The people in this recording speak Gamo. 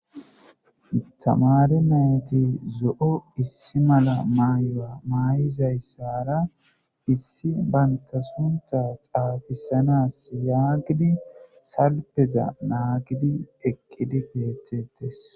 tamari mayti zo7o issi mala maaya maay7izayssara issi banta sunta xaafisanas yaagidi salpeza naagidi ekkidi beettettes